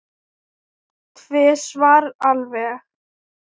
Tvisvar alveg.